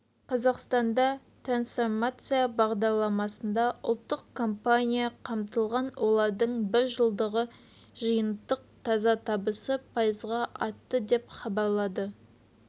қазақстанда трансформация бағдарламасында ұлттық компания қамтылған олардың бір жылдағы жиынтық таза табысы пайызға артты деп хабарлады